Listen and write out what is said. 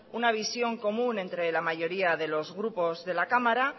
una visión común entre la mayoría de los grupos de la cámara